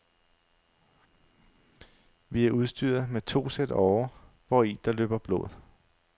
Vi er udstyret med to sæt årer, hvori der løber blod.